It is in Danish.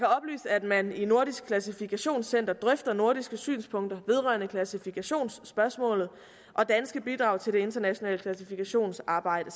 at man i nordisk klassifikationscenter drøfter nordiske synspunkter vedrørende klassifikationsspørgsmålet og danske bidrag til det internationale klassifikationssamarbejde